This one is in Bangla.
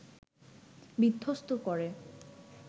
বিধ্বস্ত করে